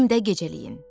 Evimdə gecələyin.